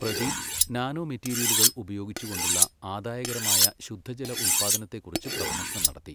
Pradeep nano മെറ്റീരിയലുകൾ ഉപയോഗിച്ചു കൊണ്ടുള്ള ആദായകരമായ ശുദ്ധജല ഉത്പ്പാദനത്തെക്കുറിച്ചു പ്രഭാഷണം നടത്തി.